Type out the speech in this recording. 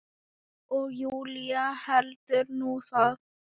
Og Júlía heldur nú það!